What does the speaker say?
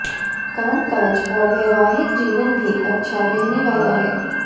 कामकाज और वैवाहिक जीवन भी अच्छा रहने वाला है